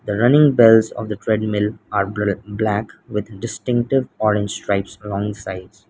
the running bells of a treadmill are ble-black with distinctive orange stripes around sides.